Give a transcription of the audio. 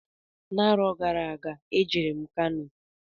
N'arọ gara aga e jere m Kano.